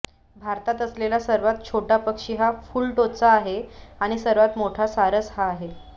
भारतात असलेला सर्वात छोटा पक्षी हा फुलटोचा आहे आणि सर्वात मोठा सारस हा आहे